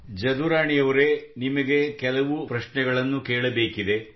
ಜದುರಾಣಿಯವರೆ ನಿಮಗೆ ಕೆಲವು ವಿವಿಧ ಪ್ರಶ್ನೆಗಳನ್ನು ಕೇಳಬೇಕಿದೆ